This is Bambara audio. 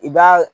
I b'a